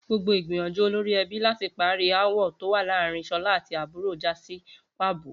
Gbogbo ìgbìyànjú olorí e̩bí láti parí aáwò̩ tó wà láàárín S̩olá àti àbúrò já sí pàbó